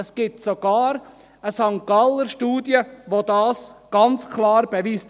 Es gibt sogar eine St.-Galler Studie, die dies ganz klar beweist.